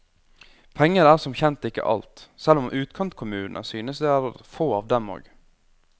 Penger er som kjent ikke alt, selv om utkantkommunene synes det er få av dem og.